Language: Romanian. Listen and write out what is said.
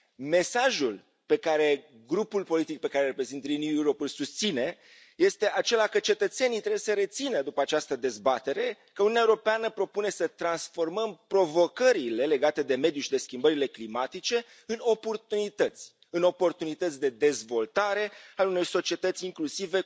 Mesajul pe care grupul politic pe care îl reprezint, Renew Europe, îl susține este acela că cetățenii trebuie să rețină, după această dezbatere, că Uniunea Europeană propune să transformăm provocările legate de mediu și de schimbările climatice în oportunități de dezvoltare ale unei societăți incluzive